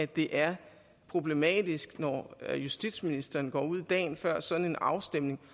det er problematisk når justitsministeren dagen før sådan en afstemning